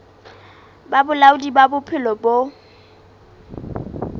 ba bolaodi ba bophelo bo